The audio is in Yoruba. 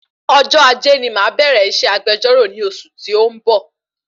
Ọjọ́ Ajé ni màá bẹ̀rẹ iṣẹ́ agbejọ́rọ̀ ni oṣù tí o n bọ̀